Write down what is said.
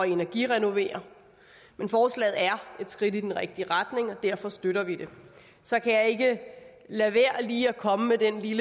energirenovere men forslaget er et skridt i den rigtige retning og derfor støtter vi det så kan jeg ikke lade være lige at komme med den lille